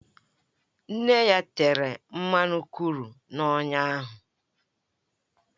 Nne ya tere mmanụ kru na-onya ya